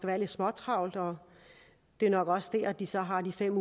være lidt småtravlt og det er nok også der de så har de fem